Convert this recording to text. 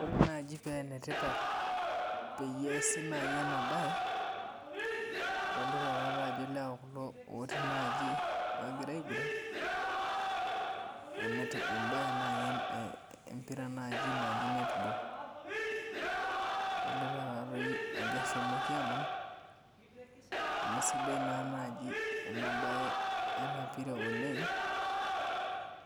Ore naji penetipat peyie eesi nai enabae, adolita tatajo ilewa kulo otii naji ogira aiguran, ebae nai empira naji naji netball. Adolita tatoi ajo eshomoki aman, amu sidai naa naji enabae enapira oleng,